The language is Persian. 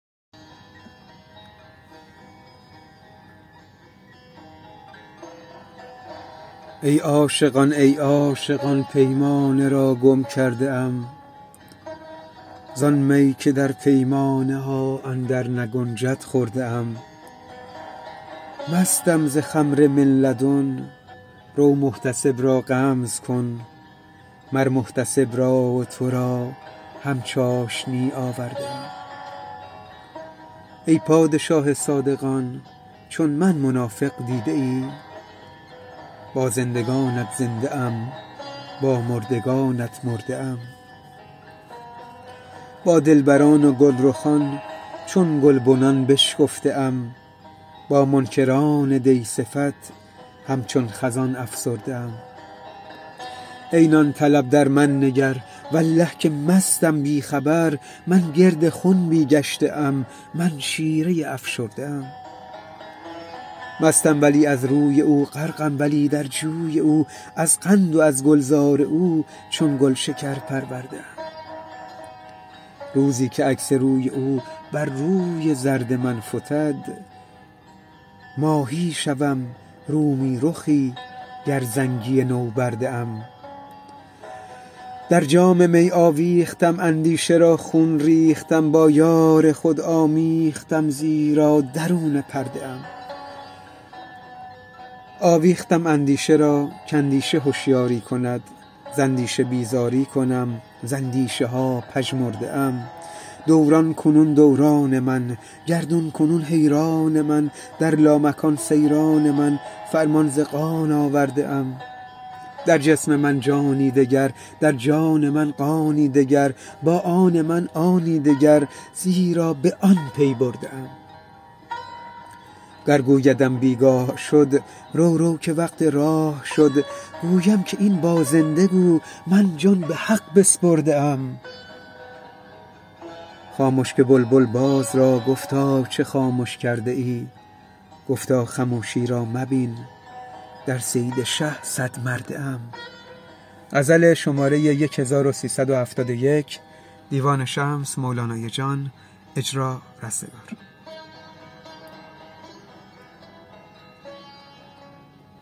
ای عاشقان ای عاشقان پیمانه را گم کرده ام زان می که در پیمانه ها اندرنگنجد خورده ام مستم ز خمر من لدن رو محتسب را غمز کن مر محتسب را و تو را هم چاشنی آورده ام ای پادشاه صادقان چون من منافق دیده ای با زندگانت زنده ام با مردگانت مرده ام با دلبران و گلرخان چون گلبنان بشکفته ام با منکران دی صفت همچون خزان افسرده ام ای نان طلب در من نگر والله که مستم بی خبر من گرد خنبی گشته ام من شیره ای افشرده ام مستم ولی از روی او غرقم ولی در جوی او از قند و از گلزار او چون گلشکر پرورده ام روزی که عکس روی او بر روی زرد من فتد ماهی شوم رومی رخی گر زنگی نوبرده ام در جام می آویختم اندیشه را خون ریختم با یار خود آمیختم زیرا درون پرده ام آویختم اندیشه را کاندیشه هشیاری کند ز اندیشه بیزاری کنم ز اندیشه ها پژمرده ام دوران کنون دوران من گردون کنون حیران من در لامکان سیران من فرمان ز قان آورده ام در جسم من جانی دگر در جان من قانی دگر با آن من آنی دگر زیرا به آن پی برده ام گر گویدم بی گاه شد رو رو که وقت راه شد گویم که این با زنده گو من جان به حق بسپرده ام خامش که بلبل باز را گفتا چه خامش کرده ای گفتا خموشی را مبین در صید شه صدمرده ام